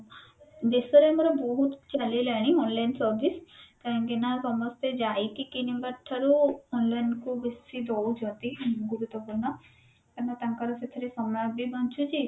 ଦେଶରେ ଆମର ବହୁତ କିଛି ଚାଲିଲାଣି online service କାହିଁ କି ନା ସମସ୍ତେ ଯାଇକି କିଣିବା ଠାରୁ online କୁ ବେଶୀ ଦଉଛନ୍ତି ଗୁରୁତ୍ବପୂର୍ଣ କାହିଁକି ନା ତାଙ୍କର ସେଥିରେ ସମୟ ବି ବଞ୍ଚୁଛି